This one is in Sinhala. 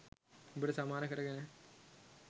උඹට සමාන කරගෙන.